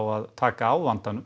að taka á vandanum